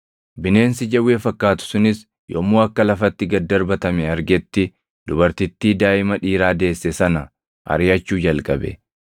Bineensi jawwee fakkaatu sunis yommuu akka lafatti gad darbatame argetti, dubartittii daaʼima dhiiraa deesse sana ariʼachuu jalqabe.